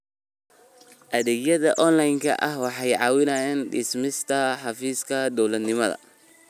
Adeegyada onlaynka ah waxay caawiyaan dhimista xafiis-dawladnimada.